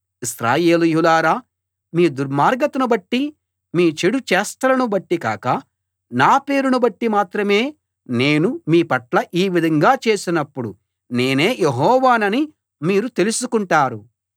ఇశ్రాయేలీయులారా మీ దుర్మార్గతను బట్టి మీ చెడు చేష్టలను బట్టి కాక నా పేరును బట్టి మాత్రమే నేను మీ పట్ల ఈ విధంగా చేసినప్పుడు నేనే యెహోవానని మీరు తెలుసుకుంటారు